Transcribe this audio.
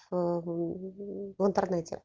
а в интернете